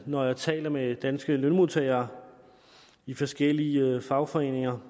når jeg taler med danske lønmodtagere i forskellige fagforeninger